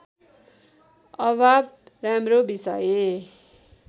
अभाव राम्रो विषय